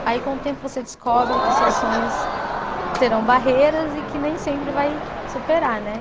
Aí com o tempo você descobre que seus sonhos terão barreiras e que nem sempre vai superar, né?